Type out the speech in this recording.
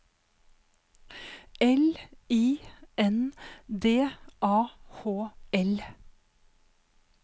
L I N D A H L